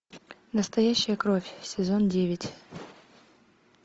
настоящая кровь сезон девять